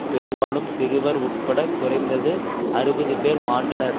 பெரும்பாலும் சிறுவர் உட்பட குறைந்தது அறுபது பேர் மாண்டனர்